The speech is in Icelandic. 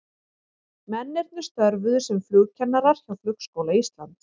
Mennirnir störfuðu sem flugkennarar hjá Flugskóla Íslands.